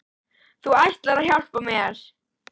! Þú ætlaðir að hjálpa mér.